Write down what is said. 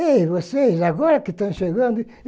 Ei, vocês, agora que estão chegando?